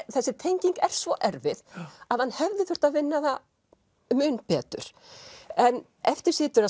þessi tenging er svo erfið að hann hefði þurft að vinna það mun betur en eftir situr að